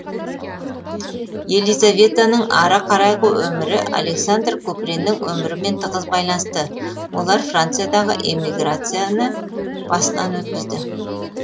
елизаветаның ары қарайғы өмірі александр куприннің өмірімен тығыз байланысты олар франциядағы эмиграцияны басынан өткізді